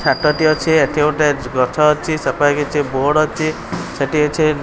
ଛାଟଟି ଅଛି। ଏଠି ଗୋଟେ ଗଛ ଅଛି। ସେପାଖେ କିଛି ବୋର୍ଡ ଅଛି। ସେଠି କିଛି --